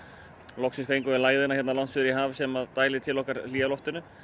loksins fengum við lægðina hérna langt suður í haf sem dælir til okkar hlýja loftinu